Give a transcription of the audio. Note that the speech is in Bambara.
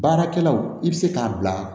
Baarakɛlaw i bɛ se k'a bila